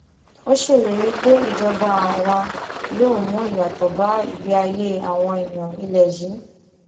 ó ṣèlérí pé ìjọba àwọn yóò mú ìyàtọ bá ìgbé ayé àwọn èèyàn ilẹ yìí